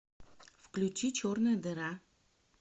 включи черная дыра